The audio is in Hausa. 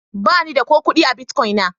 Ba ni da ko kudi a Bitcoin na.